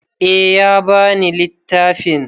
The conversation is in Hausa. Eh ya ba ni littafin.